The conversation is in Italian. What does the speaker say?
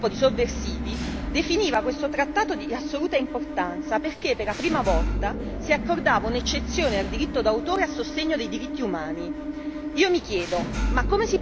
La Santa Sede, che non è certo un gruppo di sovversivi, definiva questo trattato di assoluta importanza perché per la prima volta si accordava un'eccezione al diritto d'autore a sostegno dei diritti umani.